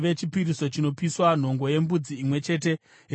nhongo yembudzi imwe chete yechipiriso chechivi;